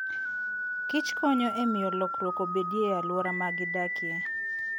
Kich konyo e miyo lokruok obedie e alwora ma gidakie.